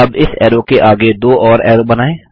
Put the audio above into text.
अब इस ऐरो के आगे दो और ऐरो बनाएँ